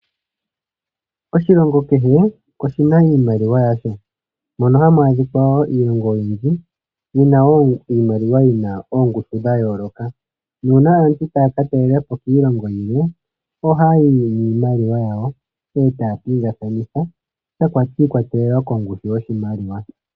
Oshilongo kehe oshi na iimaliwa yasho, mono hamu adhikwa wo Iilongo oyindji, yi na wo iimaliwa yi na oongushu dha yooloka, nuuna aantu taa ka talela po kiilongo yilwe, ohaa yi niimaliwa yawo, e taa pingakanitha, shi ikwatelela kongushu yoshimaliwa.